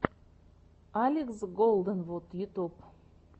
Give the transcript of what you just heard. алекс голденвуд ютуб